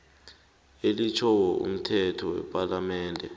elitjhiwo mthetho wepalamende